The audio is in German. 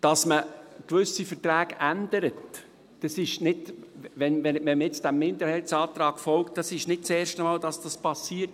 Dass man gewisse Verträge ändert – wenn man jetzt diesem Minderheitsantrag folgt –, dann geschieht dies nicht zum ersten Mal.